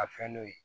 A fɛn n'o ye